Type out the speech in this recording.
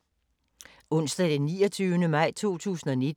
Onsdag d. 29. maj 2019